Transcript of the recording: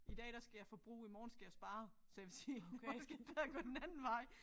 I dag der skal jeg forbruge i morgen skal jeg spare så jeg vil sige det går den anden vej